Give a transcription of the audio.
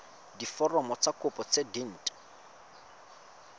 diforomo tsa kopo tse dint